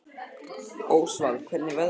Ósvald, hvernig er veðrið á morgun?